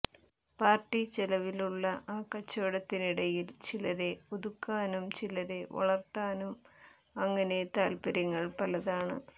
party ചെലവിലുള്ള ആ കച്ചവടത്തിനിടയിൽ ചിലരെ ഒതുക്കാനും ചിലരെ വളർത്താനും അങ്ങനെ താൽപര്യങ്ങൾ പലതാണ്